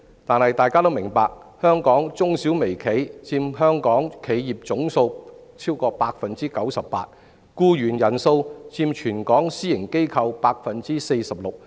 但大家也明白，香港中小微企佔本港企業總數逾 98%， 僱員人數佔全港私營機構 46%。